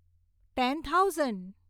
ten thousand